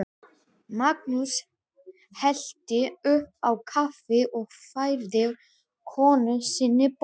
Magnús hellti upp á kaffi og færði konu sinni bolla.